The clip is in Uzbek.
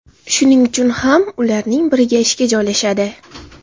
Shuning uchun ham ularning biriga ishga joylashadi.